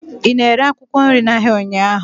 ị na-ere akwụkwọ nri n'ahịa ụnyaahụ?